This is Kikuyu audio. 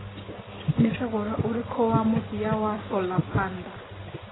nĩ thogora ũrikũ wa mũthia wa solar panda